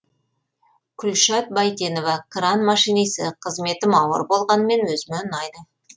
күлшат байтенова кран машинисі қызметім ауыр болғанымен өзіме ұнайды